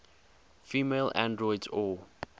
female androids or